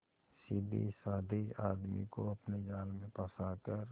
सीधेसाधे आदमी को अपने जाल में फंसा कर